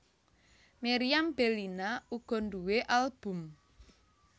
Meriam Bellina uga nduwé album